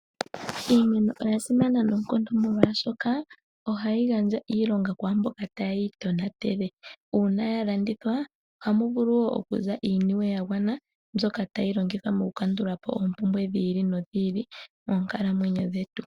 Iimeno oya simana noonkondo molwaashoka ohayi gandja iilonga kwaa mboka ta yeyi tonatele. Uuna ya landithwa oha mu vulu okuza iiniwe ya gwana, mbyoka tayi longithwa mo ku kandulapo oompumbwe dhi ili no dhi ili monkalamwenyo dhetu.